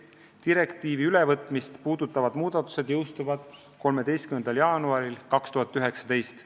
Direktiivi ülevõtmist puudutavad muudatused jõustuvad 13. jaanuaril 2019.